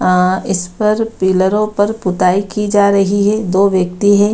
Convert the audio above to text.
अ इस पर पिलरों पर पुताई की जा रही है दो व्यक्ति है।